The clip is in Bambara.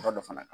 Yɔrɔ dɔ fana